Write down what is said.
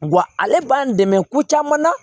Wa ale b'an dɛmɛ ko caman na